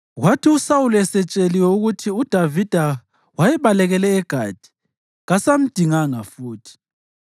Kwathi uSawuli esetsheliwe ukuthi uDavida wayebalekele eGathi kasamdinganga futhi.